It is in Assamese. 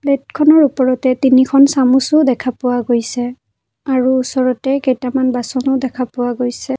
প্লেটখনৰ ওপৰতে তিনিটা চামুচো দেখা পোৱা গৈছে আৰু ওচৰতে কেইটামান বাচনো দেখা পোৱা গৈছে।